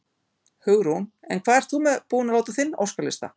Hugrún: En hvað ert þú búin að láta á þinn óskalista?